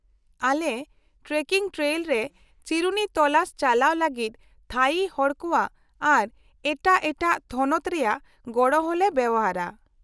-ᱟᱞᱮ trekking trail ᱨᱮ ᱪᱤᱨᱩᱱᱤ ᱛᱚᱞᱟᱥ ᱪᱟᱞᱟᱣ ᱞᱟᱹᱜᱤᱫ ᱛᱷᱟᱹᱭᱤ ᱦᱚᱲ ᱠᱚᱣᱟᱜ ᱟᱨ ᱮᱴᱟᱜ ᱮᱴᱟᱜ ᱛᱷᱚᱱᱚᱛ ᱨᱮᱭᱟᱜ ᱜᱚᱲᱚ ᱦᱚᱞᱮ ᱵᱮᱣᱦᱟᱨᱟ ᱾